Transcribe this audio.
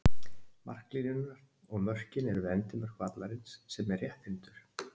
Marklínurnar og mörkin eru við endimörk vallarins sem er rétthyrndur.